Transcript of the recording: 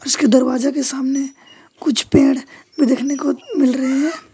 उसके दरवाजे के सामने कुछ पेड़ भी देखने को मिल रहे हैं।